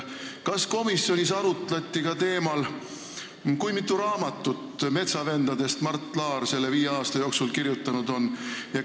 Kas komisjonis arutleti ka teemal, kui mitu raamatut metsavendadest Mart Laar selle viie aasta jooksul kirjutanud on?